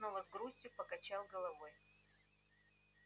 и снова с грустью покачал головой